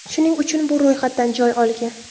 Shuning uchun bu ro‘yxatdan joy olgan.